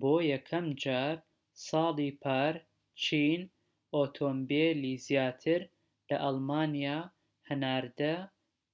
بۆ یەکەمجار ساڵی پار چین ئۆتۆمبیلی زیاتر لە ئەڵمانیا هەناردە